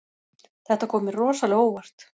Þetta kom mér rosalega á óvart